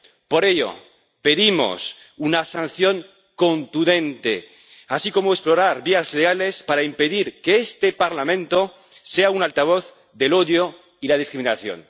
Por ello, pedimos una sanción contundente, así como explorar vías legales para impedir que este Parlamento sea un altavoz del odio y la discriminación.